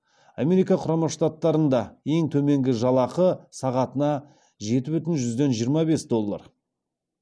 америка құрама штаттарында ең төменгі жалақы сағатына жеті бүтін жүзден жиырма бес доллар